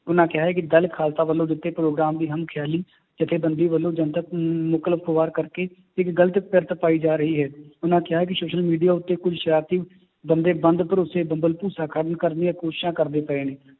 ਉਹਨਾਂ ਕਿਹਾ ਹੈ ਕਿ ਦਲ ਖਾਲਸਾ ਵੱਲੋਂ ਦਿੱਤੇ ਗਏ ਪ੍ਰੋਗਰਾਮ ਦੀ ਹਮ ਖਿਆਲੀ ਜੱਥੇ ਬੰਦੀ ਵੱਲੋਂ ਜਨਤਕ ਕਰਕੇ ਇੱਕ ਗ਼ਲਤ ਕਿਰਤ ਪਾਈ ਜਾ ਰਹੀ ਹੈ, ਉਹਨਾਂ ਕਿਹਾ ਕਿ social media ਉੱਤੇ ਕੋਈ ਸਰਾਰਤੀ ਬੰਦੇ ਬੰਦ ਭਰੋਸ਼ੇ ਭੰਬਲ ਭੂਸਾ ਕਰਨ ਕਰਨ ਦੀਆਂ ਕੋਸ਼ਿਸ਼ਾਂ ਕਰਦੇ ਪਏ ਨੇ,